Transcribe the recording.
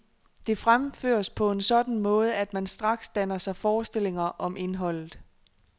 Det fremføres på en sådan måde, at man straks danner sig forestillinger om indholdet.